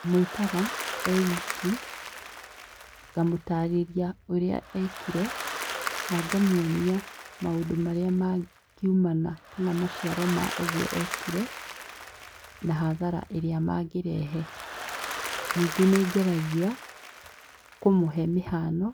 Ndĩmwĩtaga e wiki ngamũtarĩria ũrĩa ekire na ngamuonia maũndũ marĩa mangiumana kana maciaro ma ũgũo ekire na hathara ĩrĩa mangĩrehe ningĩ nĩngeragia kũmũhe mĩhano